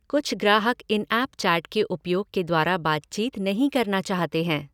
कुछ ग्राहक इन ऐप चैट के उपयोग के द्वारा बातचीत नहीं करना चाहते हैं।